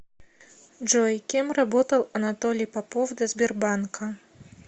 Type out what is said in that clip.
джой кем работал анатолий попов до сбербанка